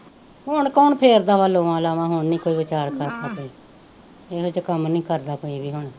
ਹੁਣ ਕੌਣ ਫੇਰਦਾ ਵਾ ਲੋਆ ਲਾਵਾਂ ਹੁਣ ਨਹੀਂ ਕੋਈ ਵਿਚਾਰ ਕਰਦਾ ਕੋਈ, ਇਹਦੇ ਚ ਕੰਮ ਨਹੀਂ ਕਰਦਾ ਕੋਈ ਵੀ